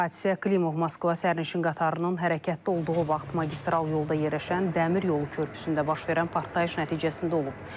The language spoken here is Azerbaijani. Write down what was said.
Hadisə Klimov Moskva sərnişin qatarının hərəkətdə olduğu vaxt magistral yolda yerləşən dəmir yolu körpüsündə baş verən partlayış nəticəsində olub.